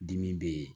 Dimi bɛ yen